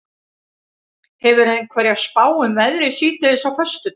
hefurðu einhverja spá um veðrið síðdegis á föstudag